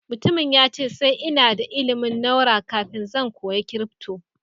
mutumin ya ce sai ina da ilimin naura kafin zan koya crypto.